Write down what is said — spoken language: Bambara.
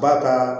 Ba ka